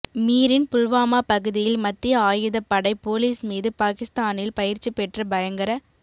மீரின் புல்வாமா பகுதியில் மத்திய ஆயுதப் படை போலிஸ் மீது பாகிஸ்தானில் பயிற்சி பெற்ற பயங்கர